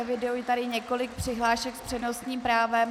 Eviduji tady několik přihlášek s přednostním právem.